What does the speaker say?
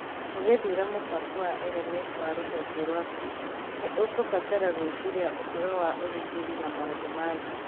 Ũgĩthuura mũbango wa LMS wa rũhonge rwaku, nĩ ũkũbatara gwĩciria ũhoro wa ũgitĩri na maũndũ ma thiri